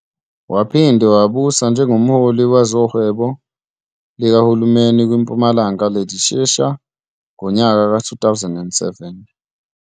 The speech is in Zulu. Waphinde wabusa njengomholi wezohwebo likahulumeni kwi Mpumalanga Legislature ngonyaka ka 2007.